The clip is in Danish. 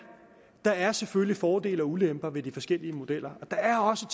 der er selvfølgelig fordele og ulemper ved de forskellige modeller og der er også